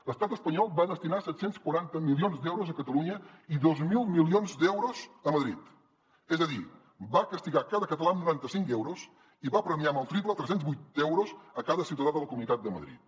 l’estat espanyol va destinar set cents i quaranta milions d’euros a catalunya i dos mil milions d’euros a madrid és a dir va castigar cada català amb noranta cinc euros i va premiar amb el triple tres cents i vuit euros cada ciutadà de la comunitat de madrid